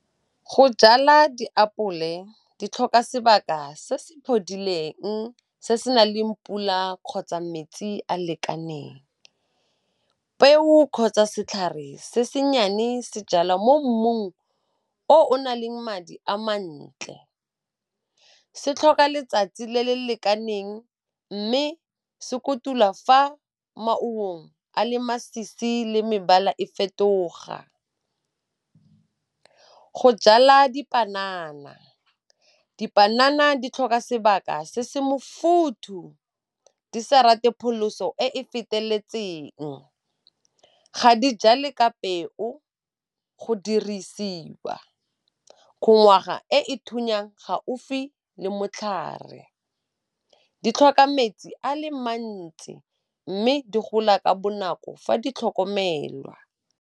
Go jala diapole di tlhoka sebaka se se phodileng se se naleng pula kgotsa metsi a lekaneng. Peo kgotsa setlhare se se nnyane se jalwa mo mmung o o naleng madi a mantle. Se tlhoka letsatsi le le lekaneng mme se kotulwa fa maungong a le masisi le mebala e fetoga. Go jala dipanana, dipanana di tlhoka sebaka se se mofuthu di sa rate pholoso e e feteletseng. Ga di jale ka peo, go dirisiwa kgongwaga e e thunyang gaufi le motlhare. Di tlhoka metsi a le mantsi mme di gola ka bonako fa di tlhokomelwa.